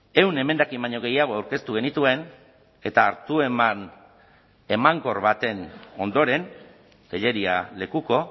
ehun emendakin baino gehiago aurkeztu genituen eta hartu eman emankor baten ondoren tellería lekuko